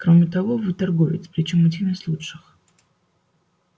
кроме того вы торговец причём один из лучших